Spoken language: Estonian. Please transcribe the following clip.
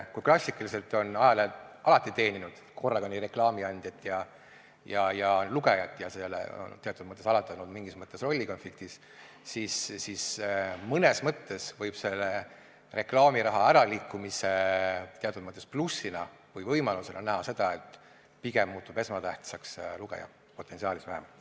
Kui klassikaliselt on ajalehed alati teeninud korraga nii reklaamiandjat kui ka lugejat ja sellega on alati teatud mõttes oldud rollikonfliktis, siis mõnes mõttes võib selle reklaamiraha äraliikumise teatud plussina või võimalusena näha seda, et pigem muutub esmatähtsaks lugeja, potentsiaalis vähemalt.